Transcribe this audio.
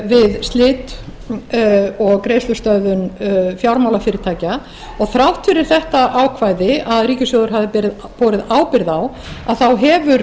við slit og greiðslustöðvun fjármálafyrirtækja og þrátt fyrir þetta ákvæði að ríkissjóður hafi borið ábyrgð á þá hefur